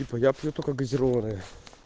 типа я пью только газированное